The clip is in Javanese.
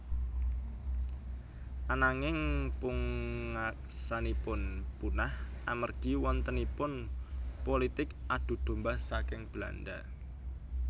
Ananging pungaksanipun punah amargi wontenipun pulitik adu domba saking Belanda